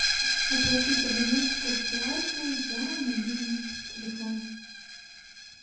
оплатить абонентскую плату за мобильный телефон